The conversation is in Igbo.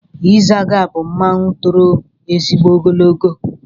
Ịzaga bụ mmanwụ toro ezigbo ogologo.